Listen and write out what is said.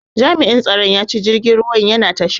Jami'in tsaron ya ce jirgin ruwan yana tasha.